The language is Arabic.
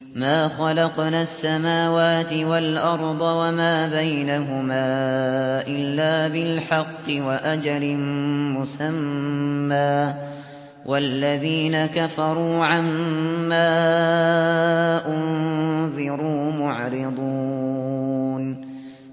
مَا خَلَقْنَا السَّمَاوَاتِ وَالْأَرْضَ وَمَا بَيْنَهُمَا إِلَّا بِالْحَقِّ وَأَجَلٍ مُّسَمًّى ۚ وَالَّذِينَ كَفَرُوا عَمَّا أُنذِرُوا مُعْرِضُونَ